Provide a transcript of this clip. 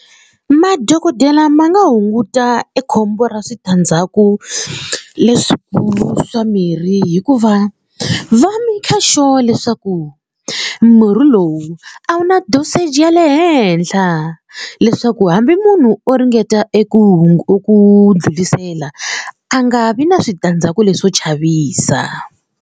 Madokodela ma nga hunguta ekhombo ra switandzhaku leswikulu swa mirhi hikuva va maker sure leswaku murhi lowu a wu na dosage ya le henhla leswaku hambi munhu o ringeta eku eku ndlulisela a nga vi na switandzhaku leswo chavisa.